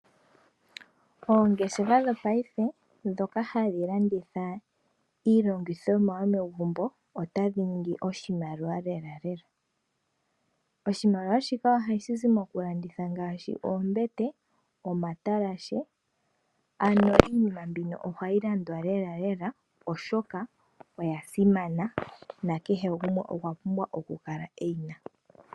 Oongeshefa dho paife dhoka hadhi landitha iilandithomwa yomegumbo ota dhi ningi oshimaliwa lela lela. Oshimaliwa shika ohashi zi mo ku landitha ngaashi oombete, omatalashe ano iinima mbino ohayi landwa lela lela oshoka oya simana na kehe gumwe okwa pumbwa oku kala eyina.